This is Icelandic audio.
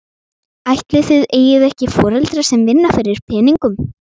Ætli þið eigið ekki foreldra sem vinna fyrir peningum?